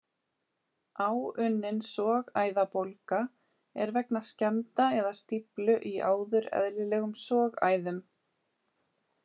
Áunnin sogæðabólga er vegna skemmda eða stíflu í áður eðlilegum sogæðum.